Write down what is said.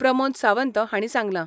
प्रमोद सावंत हाणी सांगला.